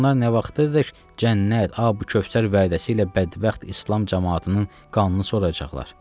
Bəs onlar nə vaxta dək cənnət, ay bu Kövsər vədəsi ilə bədbəxt İslam camaatının qanını soracaqlar?